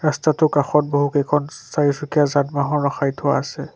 ৰস্তাটোৰ কাষত বহুকেইখন চাৰিচুকীয়া যান-বাহন ৰখাই থোৱা আছে।